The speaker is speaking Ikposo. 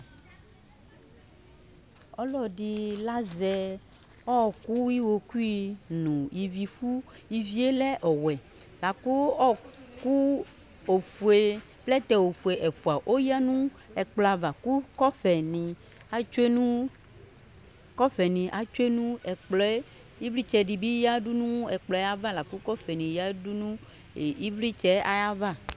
Ɔlɔdɩ lazɛ ɔɔkʋ iɣokui n'ivifʋ ivie lɛ ɔwɛ ,lakʋ ɔɔkʋ ofue plɛtɛ ɛfʋa oyǝ nʋ ɛkplɔ ava lʋ kɔfɛ , atsue nʋ kɔfɛnɩ atsue nʋ ɛkplɔɛ ,ɩvlɩtsɛdɩ bɩ yǝdu nʋ ɛkplɔɛ ava lakʋ kɔfɛ nɩ yǝ nʋ ɩvlɩtsɛ ayava